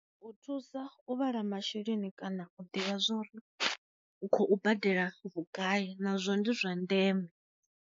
U thusa u vhala masheleni kana u ḓivha zwa uri u khou badela vhugai nazwo ndi zwa ndeme.